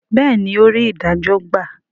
béèni, ò rí idajo gba